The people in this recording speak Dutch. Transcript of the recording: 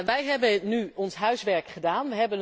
Wij hebben nu ons huiswerk gedaan